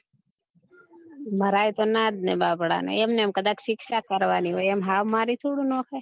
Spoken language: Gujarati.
મરાયે તો ના જ ને બાપડા ને એમ ને મ કદાચ શિક્ષા કરવાની હોય એમ હાવ મારી થોડું નાખ્યે